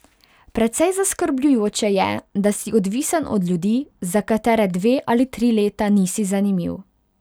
Precej zaskrbljujoče je, da si odvisen od ljudi, za katere dve ali tri leta nisi zanimiv.